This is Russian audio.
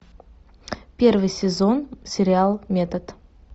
первый сезон сериал метод